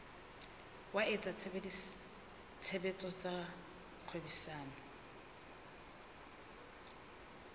wa etsa tshebetso tsa kgwebisano